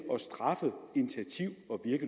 at